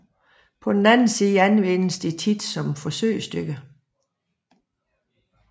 På den anden side anvendes de ofte som forsøgsdyr